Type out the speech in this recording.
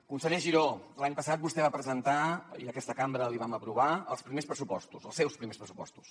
conseller giró l’any passat vostè va presentar i aquesta cambra l’hi vam aprovar els primers pressupostos els seus primers pressupostos